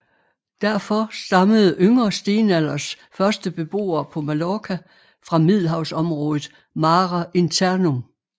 Derfor stammede yngre stenalders første beboere på Mallorca fra Middelhavsområdet mare internum